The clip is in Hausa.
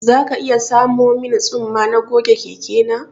Za ka iya samo min tsumma na goge keke na